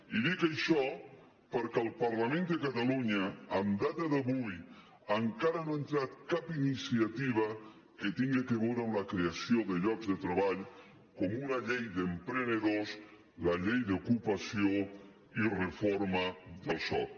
i dic això perquè el parlament de catalunya en data d’avui encara no ha entrat cap iniciativa que tinga a veure amb la creació de llocs de treball com una llei d’emprenedors la llei d’ocupació i reforma del soc